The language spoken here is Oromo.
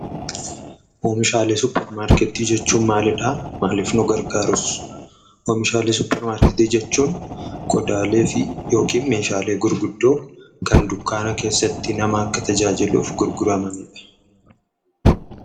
Oomishaalee suuparmarketii jechuun maalidha? Maalif nu gargaruus? Oomishaalee suuparmarketii jechuun qodaaleefi(meeshaalee) gurguddoo Kan dunkaana keessatti akka nama taajajiluuf gurguramanidha.